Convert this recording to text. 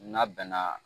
N'a bɛnna